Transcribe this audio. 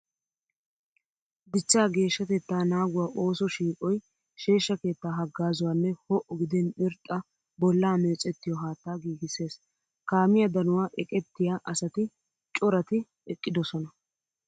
Dichchaa geeshshatettaa naaguwa ooso shiiqoy sheeshsha keettaa haggaazuwa nne ho'o gidin irxxa bollaa meecettiyo haattaa giigissees. Kaamiya danuwa eqettiya asati coratti eqqidosona.